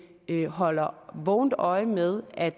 at vi holder vågent øje med at